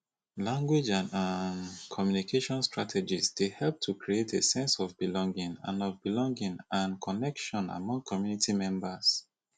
language and um communication strategies dey help to create a sense of belonging and of belonging and connection among community members